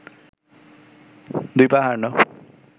দুই পা হারানো